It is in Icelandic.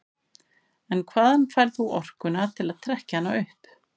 En hvaðan færð þú orkuna til að trekkja hana upp?